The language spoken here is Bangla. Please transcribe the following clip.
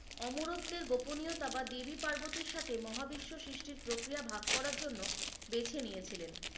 অমরত্তের গোপনীয়তা বা দেবি পার্বতির সাথে মহা বিশ্বের প্রক্রিয়া ভাগ করার জন্য বেছে নিয়েছিলেন